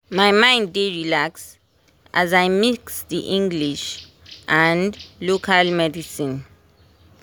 my mind dey relax as i mix the english and local medicine